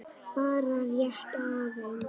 Bara rétt aðeins.